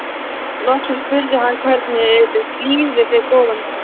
Loksins spurði hann: Hvernig líður þér góða mín?